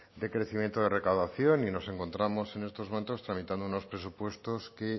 de crecimiento de recaudación y nos encontramos en estos momentos tramitando unos presupuestos que